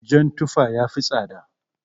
Jan tufa yafi tsada.